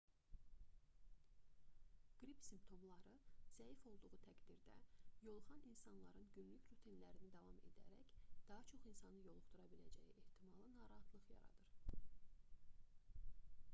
qrip simptomları zəif olduğu təqdirdə yoluxan insanların günlük rutinlərinə davam edərək daha çox insanı yoluxdura biləcəyi ehtimalı narahatlıq yaradır